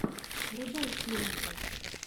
врубай челленджи